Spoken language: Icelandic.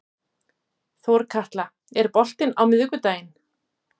Þorkatla, er bolti á miðvikudaginn?